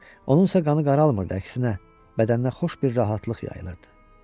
Onunsa qanı qaralmırdı, əksinə bədəndən xoş bir rahatlıq yayılırdı.